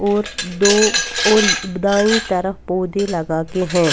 और दो अउरी दाएँ तरफ पौदे लगा के हैं।